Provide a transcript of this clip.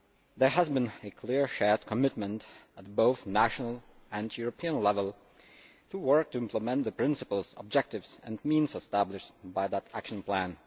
There has been a clear shared commitment at both national and European level to work to implement the principles, objectives and means established by that Action Plan.